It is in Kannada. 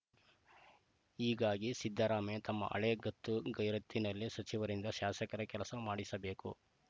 ಹೀಗಾಗಿ ಸಿದ್ದರಾಮಯ್ಯ ತಮ್ಮ ಹಳೆ ಗತ್ತು ಗೈರತ್ತಿನಲ್ಲೇ ಸಚಿವರಿಂದ ಶಾಸಕರ ಕೆಲಸ ಮಾಡಿಸಬೇಕು